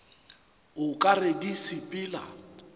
o ka re di sepela